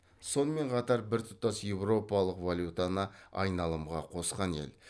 сонымен қатар біртұтас еуропалық валютаны айналымға қосқан ел